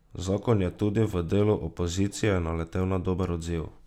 Zakon je tudi v delu opozicije naletel na dober odziv.